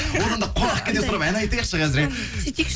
одан да қонақкәде сұрап ән айтайықшы қазір иә сөйтейікші